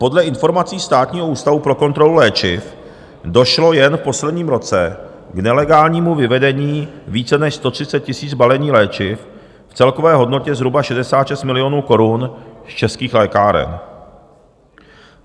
Podle informací Státního ústavu pro kontrolu léčiv došlo jen v posledním roce k nelegálnímu vyvedení více než 130 000 balení léčiv v celkové hodnotě zhruba 66 milionů korun z českých lékáren.